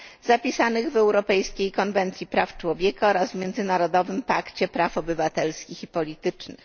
zapisanych w europejskiej konwencji praw człowieka oraz w Międzynarodowym pakcie praw obywatelskich i politycznych.